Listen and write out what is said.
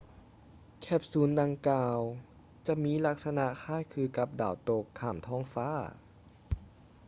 ແຄບຊູນດັ່ງກ່າວຈະມີລັກສະນະຄ້າຍຄືກັບດາວຕົກຂ້າມທ້ອງຟ້າ